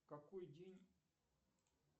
какой день